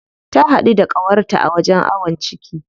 Ta haɗu da ƙawarta a wajen awon ciki.